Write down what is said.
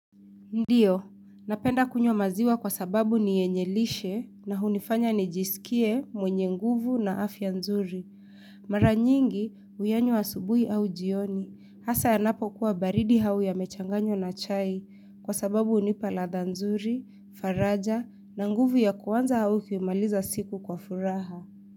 Ndio, napenda kunywa maziwa kwa sababu ni yenye lishe na hunifanya nijisikie mwenye nguvu na afya nzuri. Mara nyingi, huyanywa asubuhi au jioni, hasa yanapo kuwa baridi au yamechanganywa na chai kwa sababu hunipa ladha nzuri, faraja na nguvu ya kuanza au kuimaliza siku kwa furaha.